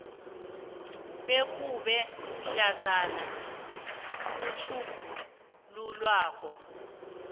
bekube mhlazana utjhugululwako